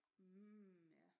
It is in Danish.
Mm ja